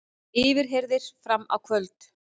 Yfirheyrðir fram á kvöld